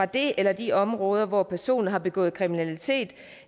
det eller de områder hvor personen har begået kriminalitet